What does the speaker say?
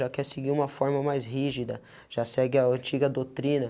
Já quer seguir uma forma mais rígida, já segue a antiga doutrina.